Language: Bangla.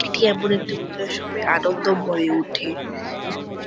এটি এমন একটি পূজা সবাই আনন্দ হয়ে ওঠে সবাই--